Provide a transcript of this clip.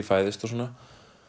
fæðist og svona